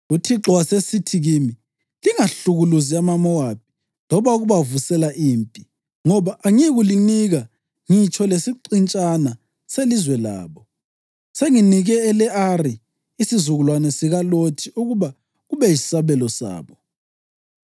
UThixo wasesithi kimi, ‘Lingahlukuluzi amaMowabi loba ukubavusela impi, ngoba angiyikulinika ngitsho lesiqintshana selizwe labo. Senginike ele-Ari isizukulwane sikaLothi ukuba kube yisabelo sabo.’ ”